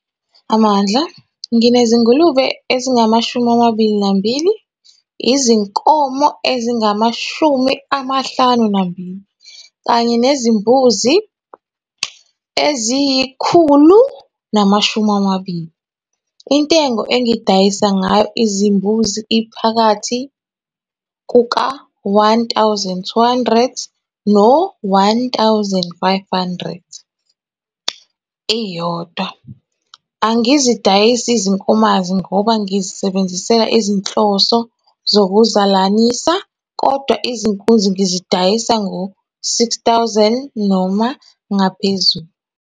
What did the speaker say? Amandla - Nginezingulube ezingama-22, izinkomo ezingama-52, kanye nezimbuzi eziyi-120. Intengo engidayisa ngayo izimbuzi iphakathi kuka-R1 200 no-R1 500 eyodwa. Angizidayisi izinkomanzi ngoba ngizisebenzisela izinhloso zokuzizalanisa, kodwa izinkunzi ngizidayisa ngo-R6 000 noma ngaphezulu.